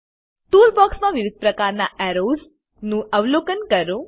tool બોક્ક્ષમાં વિવિધ પ્રકારના એરોઝ નું અવલોકન કરો